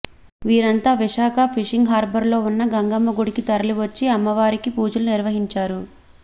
వీరంతా విశాఖ ఫిషింగ్ హార్బర్లో ఉన్న గంగమ్మ గుడికి తరలివచ్చి అమ్మవారికి పూజలు నిర్వహించారు